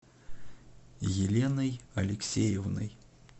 еленой алексеевной